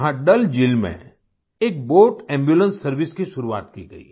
यहाँ डल झील में एक बोट एम्बुलेंस सर्वाइस की शुरुआत की गई